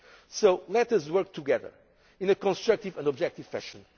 ground. So let us work together in a constructive and objective fashion.